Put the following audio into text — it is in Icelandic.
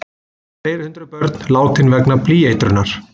Fleiri hundruð börn látin vegna blýeitrunar